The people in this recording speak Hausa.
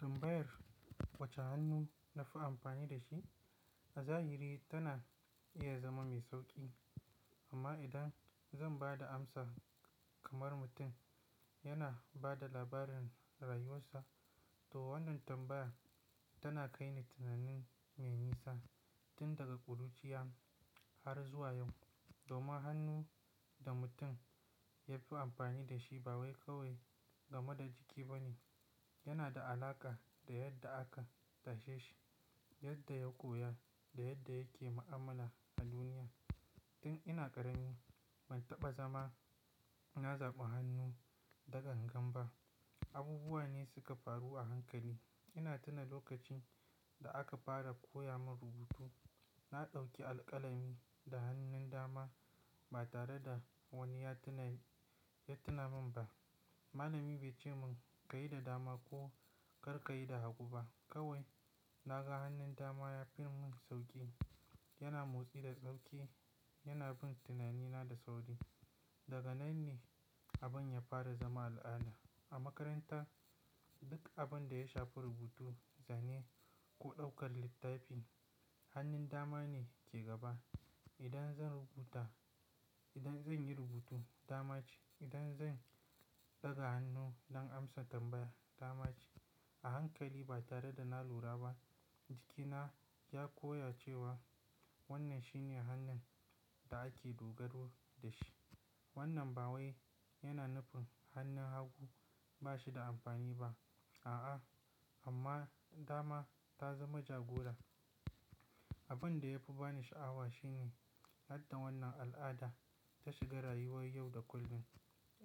Tambayar wacce hannu nafi amfani da shi a zahiri tana iya zama mai sauƙi. Amma idan zan ba da amsa kamar mutum yana ba da labarin rayuwarsa, to wannan tambayar tana kai ni tunani me nisa, tun daga ƙuruciya har zuwa yau. Domin hannu da mutum ya fi amfani da shi ba wai kawai game da jiki ba ne. Yana da alaƙa da yadda aka tashe shi, yadda ya koya da yadda yake ma'amala a duniya. Tun ina ƙarami ban taɓa zama na zaɓi hannu da gan gan ba. Abubuwa ne suka faru a hankali. Ina tuna lokacin da aka fara koya min rubutu. Na ɗauki alƙalami da hannun dama ba tare da wani ya tuna, ya tuna min ba. Malami bai ce mun ka yi da dama ko kar ka yi da hagu ba. Kawai na ga hannun dama ya fi mun sauƙi. Yana motsi da sauƙi. Yana bin tunanina da sauri. Daga nan ne abin ya fara zama al'ada. A makaranta duk abin da ya shafi rubutu, zane ko ɗaukar littafi, hannun dama ne ke gaba. Idan zan rubuta, idan zan yi rubutu dama ce. Idan zan ɗaga hannu don amsa tambaya dama ce. A hankali ba tare da na lura ba, jikina ya koya cewa wannan shi ne hannun da ake dogaro da shi. Wannan ba wai yana nufin hannun hagu ba shi da amfani ba. A'a, amma dama ta zama jagora. Abin da ya fi bani sha'awa shine yadda wannan al'ada ta shiga rayuwar yau da kullum.